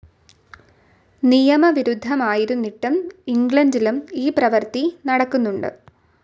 നിയമവിരുദ്ധമായിരുന്നിട്ടും ഇംഗ്ലണ്ടിലും ഈ പ്രവർത്തി നടക്കുന്നുണ്ട്.